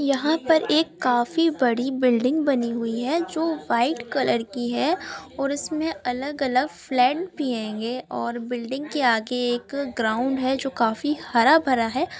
यहाँ पर एक काफी बड़ी बिल्डिंग बानी हुई है|